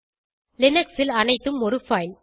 Linux ல் அனைத்தும் ஒரு பைல்